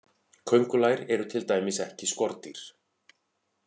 Köngulær eru til dæmis ekki skordýr.